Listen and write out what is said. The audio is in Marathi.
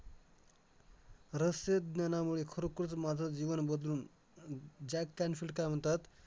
रहस्य ज्ञानामुळे खरोखरच माझं जीवन बदलून जॅक कॅनफिल्ड काय म्हणतात,